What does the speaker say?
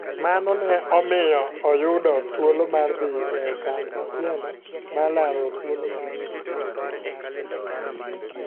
Mano ne omiyo oyudo thuolo mar dhi e okang' machielo mar laro thuolo mar tugo e piem mar pinje Afrika.